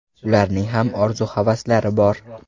Ularning ham orzu-havaslari bor.